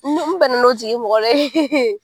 N be, n bana o tigi mɔgɔ